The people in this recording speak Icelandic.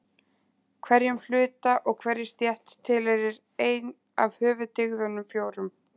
Hverjum hluta og hverri stétt tilheyrir ein af höfuðdygðunum fjórum.